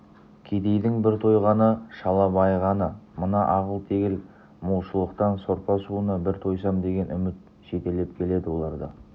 кедейдің бір тойғаны шала байығаны мына ағыл-тегіл молшылықтын сорпа-суына бір тойсам деген үміт жетелеп келеді оларды